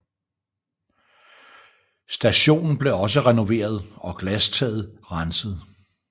Stationen blev også renoveret og glastaget renset